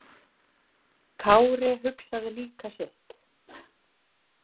Kári hugsaði líka sitt.